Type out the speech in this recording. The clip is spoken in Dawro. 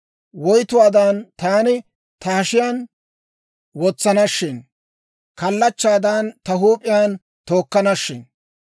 Woytuwaadan taani ta hashiyaan wotsana shin! Kallachchaadan ta huup'iyaan tookkanashin!